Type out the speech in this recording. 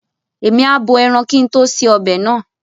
Èmi a bo ẹran kín tó ṣe ọbẹ̀ náà.